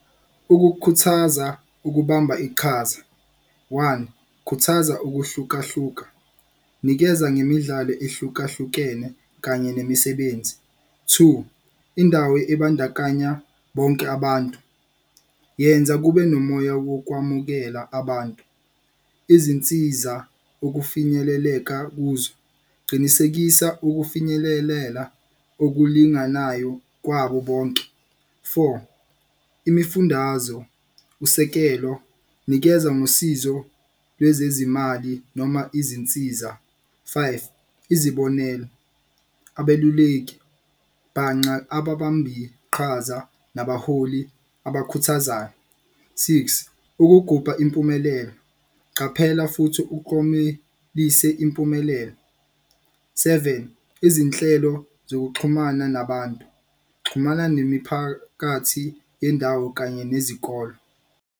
Ukukhuthaza ukubamba iqhaza, one, khuthaza ukuhlukahluka, nikeza ngemidlalo ehlukahlukene kanye nemisebenzi. Two, indawo ebandakanya bonke abantu, yenza kube nomoya wokwamukela abantu, izinsiza okufinyeleleka kuzo, qinisekisa ukufinyelelela okulinganayo kwabo bonke. Four, imifundazo, usekelo, nikeza ngosizo lwezezimali noma izinsiza. Five, izibonelo, abeluleki, ababambiqhaza nabaholi abakhuthazayo. Six, ukugubha impumelelo, qaphela futhi ukomelise impumelelo. Seven, izinhlelo zokuxhumana nabantu, xhumana nemiphakathi yendawo kanye nezikolo.